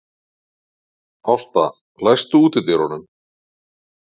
Ásta, læstu útidyrunum.